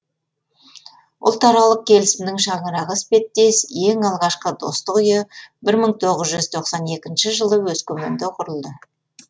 ұлтаралық келісімнің шаңырағы іспеттес ең алғашқы достық үйі бір мың тоғыз жүз тоқсан екінші жылы өскеменде құрылды